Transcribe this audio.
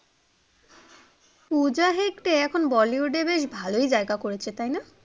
পূজা হেগড়ে এখন bollywood এ বেশ ভালোই জায়গা করেছে, তাই না?